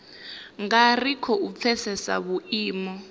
nga ri khou pfesesa vhuimo